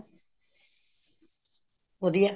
ਵਧੀਆ